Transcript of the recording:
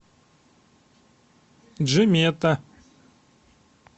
джимета